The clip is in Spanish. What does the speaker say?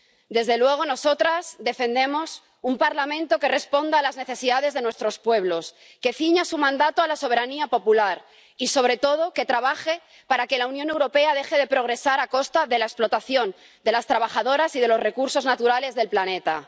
Desde luego, nosotras defendemos un Parlamento que responda a las necesidades de nuestros pueblos, que ciña su mandato a la soberanía popular y, sobre todo, que trabaje para que la Unión Europea deje de progresar a costa de la explotación de las trabajadoras y de los recursos naturales del planeta.